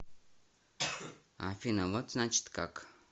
афина вот значит как